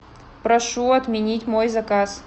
прошу отменить мой заказ